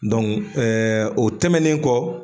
o tɛmɛnen kɔ.